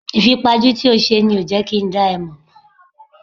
Ìfipajú tí o ṣe ni kò jẹ́ kí n dá ẹ mò mọ́.